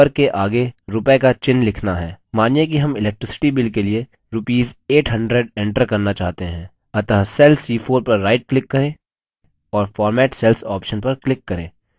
मानिए कि हम electricity bill के लिए rupees 800 enter करना चाहते हैं अतः cell c4 पर right click करें और format cells option पर click करें